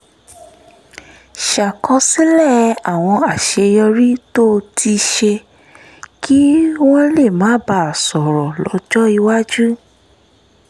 ṣàkọsílẹ̀ àwọn àṣeyọrí tó ti ṣe kí wọ́n lè máa bá a sọ̀rọ̀ lọ́jọ́ iwájú